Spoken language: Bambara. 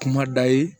Kuma da ye